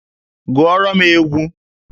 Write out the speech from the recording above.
Gụọrọ m egwu!